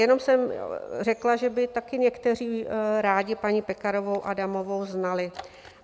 Jenom jsem řekla, že by taky někteří rádi paní Pekarovou Adamovou znali.